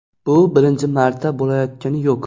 Bu birinchi marta bo‘layotgani yo‘q.